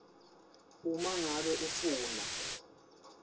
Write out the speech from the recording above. uma ngabe ufuna